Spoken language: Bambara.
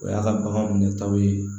O y'a ka bagan minɛ taw ye